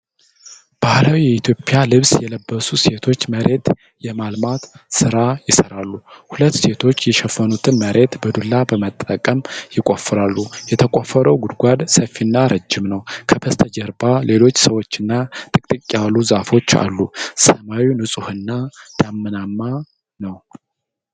ባህላዊ የኢትዮጵያ ልብስ የለበሱ ሴቶች መሬት የማልማት ሥራ ይሰራሉ። ሁለት ሴቶች የሸፈኑትን መሬት በዱላ በመጠቀም ይቆፍራሉ። የተቆፈረው ጉድጓድ ሰፊና ረዥም ነው። ከበስተጀርባ ሌሎች ሰዎችና ጥቅጥቅ ያሉ ዛፎች አሉ። ሰማዩ ንፁህና ደመናማ ነው።